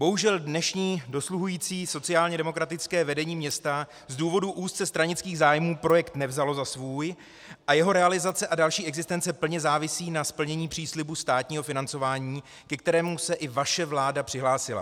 Bohužel dnešní dosluhující sociálně demokratické vedení města z důvodu úzce stranických zájmů projekt nevzalo za svůj a jeho realizace a další existence plně závisí na splnění příslibu státního financování, ke kterému se i vaše vláda přihlásila.